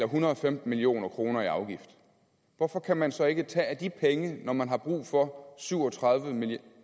hundrede og femten million kroner i afgifter hvorfor kan man så ikke tage af de penge når man har brug for syv og tredive